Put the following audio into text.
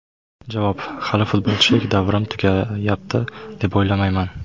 Javob: Hali futbolchilik davrim tugayapti, deb o‘ylamayman.